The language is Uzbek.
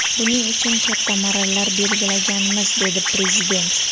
Buning uchun katta marralar belgilaganmiz”, dedi Prezident.